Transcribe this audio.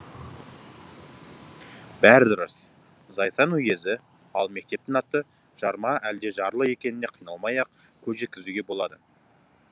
бәрі дұрыс зайсан уезі ал мектептің аты жарма әлде жарлы екеніне қиналмай ақ көз жеткізуге болады